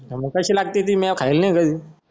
मग कशी लागती ती मेय खायला